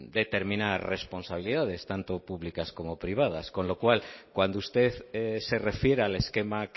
determinar responsabilidades tanto públicas como privadas con lo cual cuando usted se refiere al esquema